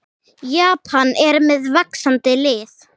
Japan er með vaxandi lið.